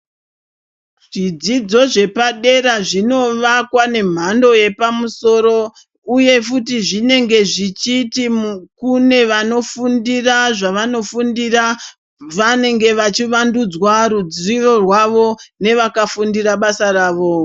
Zvidzidzo zvepadera zvinovakwa nemhando yepamusoro uye futi zvinenge zvichiti kune vanofundira zvavanofundira vanenge vachiwandudzwa ruzivo rwavo nevakafundira basa ravo.